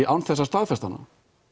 án þess að staðfesta hana